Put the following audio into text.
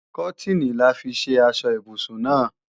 Kọ́tìnì là fi ṣe aṣọ ibùsùn náà